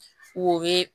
O ye